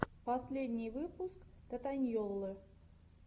последний выпуск татаньйоллы